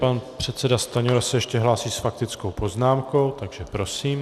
Pan předseda Stanjura se ještě hlásí s faktickou poznámkou, takže prosím.